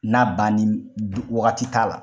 N'a banni wagati t'a la.